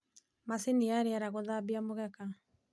macini ta riera guthambia mugeeka